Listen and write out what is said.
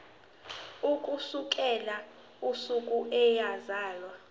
ukusukela usuku eyazalwa